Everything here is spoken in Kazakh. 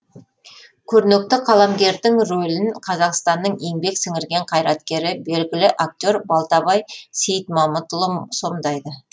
көрнекті қаламгердің рөлін қазақстанның еңбек сіңірген қайраткері белгілі актер балтабай сейітмамытұлы сомдайды